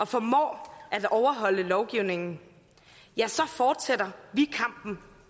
formår at overholde lovgivningen fortsætter vi kampen